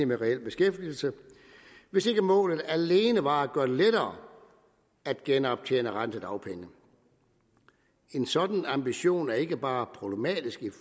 med reel beskæftigelse hvis ikke målet alene var at gøre det lettere at genoptjene retten til dagpenge en sådan ambition er ikke bare problematisk i